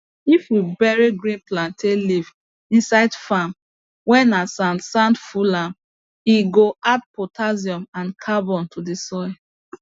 if we bury green plantain leaves inside farm whey na sand sand full am e go add potassium and carbon to the soil